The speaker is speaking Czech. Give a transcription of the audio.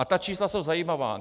A ta čísla jsou zajímavá.